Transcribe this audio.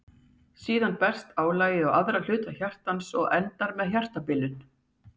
Síðar berst álagið á aðra hluta hjartans og endar með hjartabilun.